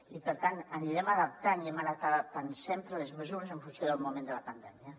i per tant anirem adaptant i hem anat adaptant sempre les mesures en funció del moment de la pandèmia